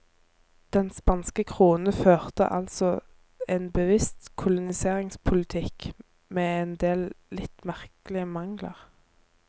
Den spanske krone førte altså en bevisst koloniseringspolitikk med en del litt merkelige mangler.